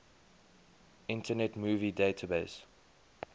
internet movie database